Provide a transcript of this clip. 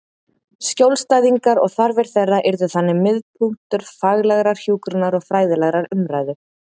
Skjólstæðingarnir og þarfir þeirra yrðu þannig miðpunktur faglegrar hjúkrunar og fræðilegrar umræðu.